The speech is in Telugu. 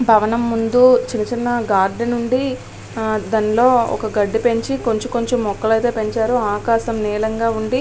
భవనం ముందు చిన్నచిన్న గార్డెన్ ఉంది. ఆ దానిలో ఒక గడ్డి పెంచి కొంచెం కొంచెం మొక్కలైతే పెంచారు. ఆకాశం నీలంగా ఉంది.